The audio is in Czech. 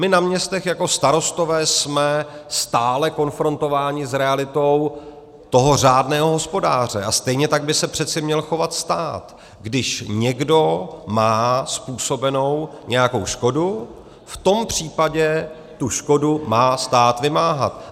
My na městech jako starostové jsme stále konfrontováni s realitou toho řádného hospodáře a stejně tak by se přece měl chovat stát, když někdo má způsobenou nějakou škodu, v tom případě tu škodu má stát vymáhat.